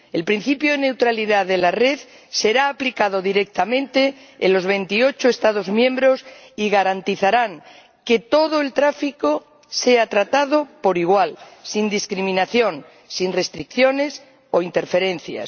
El principio de neutralidad de la red será aplicado directamente en los 28 Estados miembros y garantizará que todo el tráfico sea tratado por igual, sin discriminación, sin restricciones o interferencias.